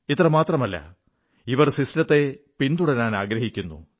ഇത്ര മാത്രമല്ല ഇവർ വ്യവസ്ഥിതിയെ പിന്തുടരാനാഗ്രഹിക്കുന്നു